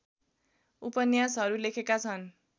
उपन्यासहरू लेखेका छन्